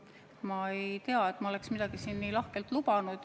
Ma ei tea, et ma oleksin midagi siin nii lahkelt lubanud.